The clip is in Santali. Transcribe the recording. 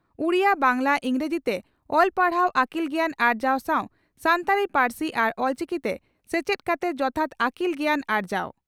ᱩᱰᱤᱭᱟᱹ ᱵᱟᱝᱜᱽᱞᱟ ᱤᱝᱨᱟᱹᱡᱤ ᱛᱮ ᱚᱞ ᱯᱟᱲᱦᱟᱣ ᱟᱹᱠᱤᱞ ᱜᱮᱭᱟᱱ ᱟᱨᱡᱟᱣ ᱥᱟᱣ ᱥᱟᱱᱛᱟᱲᱤ ᱯᱟᱹᱨᱥᱤ ᱟᱨ ᱚᱞᱪᱤᱠᱤᱛᱮ ᱥᱮᱪᱮᱫ ᱠᱟᱛᱮ ᱡᱚᱛᱷᱟᱛ ᱟᱹᱠᱤᱞ ᱜᱮᱭᱟᱱ ᱟᱨᱡᱟᱣ ᱾